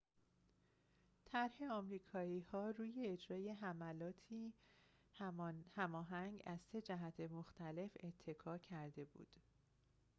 طرح آمریکایی‌ها روی اجرای حملاتی هماهنگ از سه جهت مختلف اتکا کرده بود